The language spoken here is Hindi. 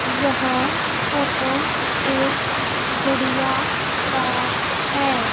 यह फोटो एक गुड़िया का है।